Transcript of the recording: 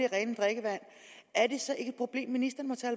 rent drikkevand er det så ikke et problem ministeren